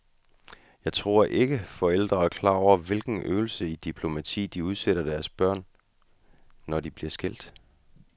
Jeg tror ikke, forældre er klar over hvilken øvelse i diplomati de udsætter deres børn, når de bliver skilt.